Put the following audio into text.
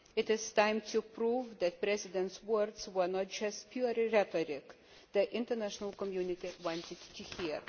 It is time to prove the President's words were not just pure rhetoric the international community wanted to hear.